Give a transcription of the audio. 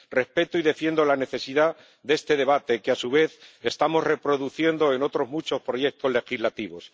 Respeto y defiendo la necesidad de este debate, que a su vez estamos reproduciendo en otros muchos proyectos legislativos.